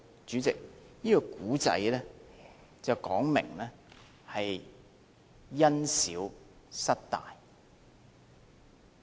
主席，這個故事說的是，因小失大。